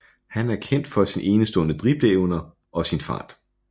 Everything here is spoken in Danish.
Han er kendt for sin enestående dribleevner og sin fart